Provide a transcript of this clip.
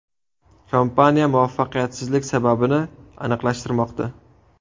Kompaniya muvaffaqiyatsizlik sababini aniqlashtirmoqda.